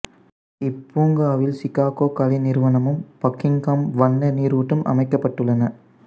இப்பூங்காவில் Chicago கலை நிறுவனமும் Buckingham வண்ண நீருற்றும் அமைக்கப்பட்டுள்ளன